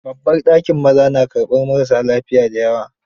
Babban dakin maza na karɓar marassa lafiya da yawa.